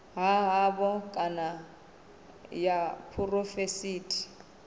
ha havho kana ya phurovintsi